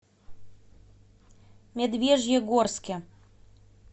медвежьегорске